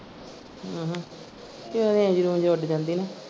ਹਮ ਹਮ range ਰੂੰਜ ਉੱਡ ਜਾਂਦੀ ਨਾ।